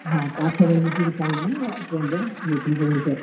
ହଁ ପାଞ୍ଚ, ଛ ଜଣ ମିଶିକରି, ସାଙ୍ଗ ମାନେ train ରେ ଯେଇଥିଲୁଁ ଭୁବନେଶ୍ୱର।